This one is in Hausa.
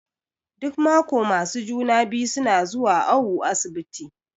Duk maƙo masu juna-biyu suna zuwa awu asibiti.